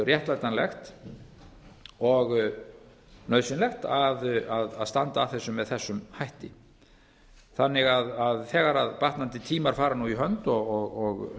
réttlætanlegt og nauðsynlegt að standa að þessu með þessum hætti þannig að þegar batnandi tímar fara nú í hönd og